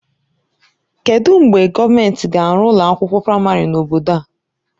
Kedụ mgbe gọọmentị ga-arụ ụlọ akwụkwọ praịmarị n'obodo a?